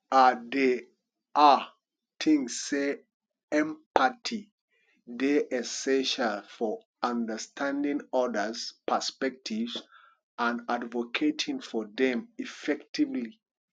i dey um think say empathy dey essential for understanding odas perspectives and advocating for dem effectively